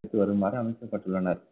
பிடித்து வருமாறு அமைக்கப்பட்டுள்ளனர்